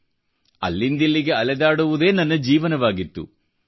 ಆ wandering ascetic ಅಲ್ಲಿಂದಿಲ್ಲಿಗೆ ಅಲೆದಾಡುವುದೇ ನನ್ನ ಜೀವನವಾಗಿತ್ತು